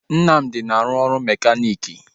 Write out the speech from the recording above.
Nnamdi na-arụ ọrụ mekaniiki